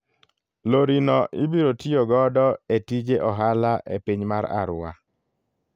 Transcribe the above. Lori no ibiro tiyo godo e tije ohala e piny mar Arua.